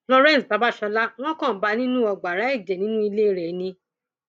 florence babasola wọn kan bá a nínú ọgbàrá ẹjẹ nínú ilé rẹ ni